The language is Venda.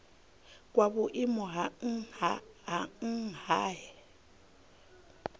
kwa vhuimo ha nha he